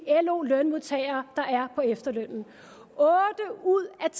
lo lønmodtagere der er på efterløn otte ud af